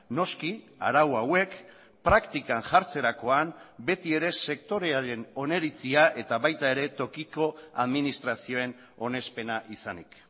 noski arau hauek praktikan jartzerakoan beti ere sektorearen oniritzia eta baita ere tokiko administrazioen onespena izanik